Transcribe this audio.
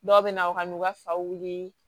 Dɔw bɛ na u ka n'u ka faw wili